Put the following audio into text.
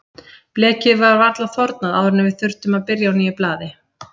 Blekið var varla þornað áður en við þurftum að byrja á nýju blaði.